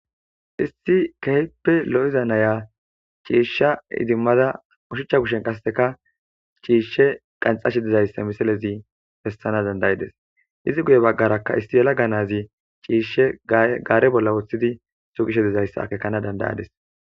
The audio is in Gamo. issi kehippe lo'iza naya ciishsha idimmada ushuchcha kushen qasseka ciishshe qanxashe dizayssa misalezi bessana dandayides izi guye baggarakka issi yelag nazi ciishshe gaare bolla woththidi sugishe dizayssa akekana dandayadis